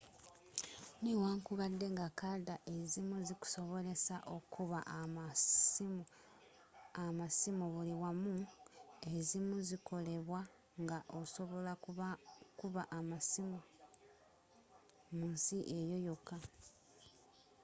newankubadde nga kadda ezzimu zikusobolesa okuba amasiimu buli wamu ezimu zikolebwa nga osobola kuba masimu mu nsi eyo yoka